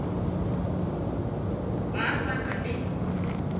ga a sa na le